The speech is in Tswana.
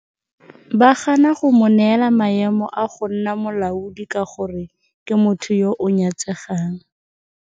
Ba gana go mo neela maemo a go nna molaodi ka gore ke motho yo o nyatsegang.